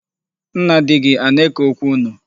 Nna di gị ana-eke okwu unu?